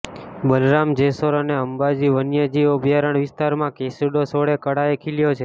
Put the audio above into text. બાલારામ જેસોર અને અંબાજી વન્યજીવ અભ્યારણ વિસ્તારમાં કેસુડો સોળે કળાએ ખીલ્યો છે